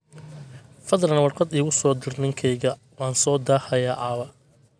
fadlan warqad igu soo dir ninkeyga waan soo daahayaa caawa